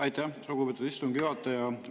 Aitäh, lugupeetud istungi juhataja!